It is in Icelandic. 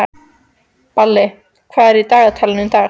Balli, hvað er í dagatalinu í dag?